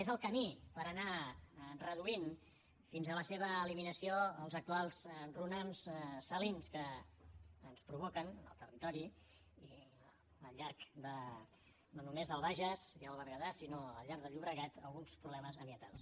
és el camí per anar reduint fins a la seva eliminació els actuals runams salins que ens provoquen al territori i al llarg no només del bages i el berguedà sinó al llarg del llobregat alguns problemes ambientals